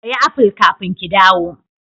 Ki siya aful kafin ki dawo.